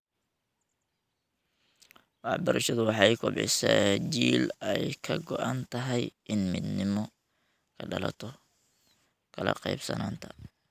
Waxbarashadu waxay kobcisaa jiil ay ka go'an tahay inay midnimo ka dhalato kala qaybsanaanta.